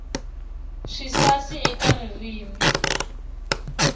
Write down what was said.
swisasi eka ririmi